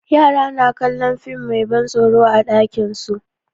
Yara na kallon fim mai ban tsoro a ɗakin su.